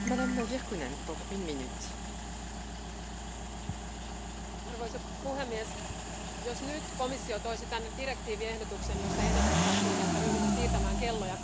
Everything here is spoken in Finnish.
Arvoisa puhemies, jos nyt komissio toisi tänne direktiiviehdotuksen, jossa ehdotettaisiin, että ryhdymme siirtämään kelloja kaksi kertaa vuodessa, uskon, että tuo direktiivi tyrmätäisiin ehdottomasti.